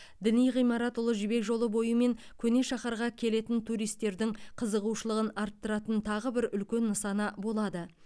діни ғимарат ұлы жібек жолы бойы мен көне шаһарға келетін туристердің қызығушылығын арттыратын тағы бір үлкен нысаны болады